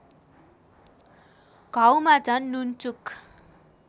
घाउमा झन् नुनचुक